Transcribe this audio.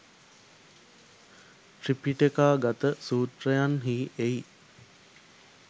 ත්‍රිපිටකාගත සූත්‍රයන්හි එයි.